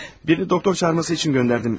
Birini doktor çağırması üçün göndərdim.